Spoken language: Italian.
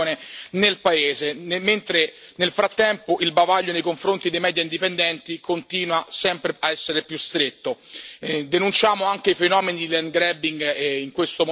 del leader dell'opposizione Kem Sokha è l'ennesimo arresto di esponenti dell'opposizione nel paese mentre, nel frattempo, il bavaglio nei confronti dei media indipendenti continua a essere sempre più stretto.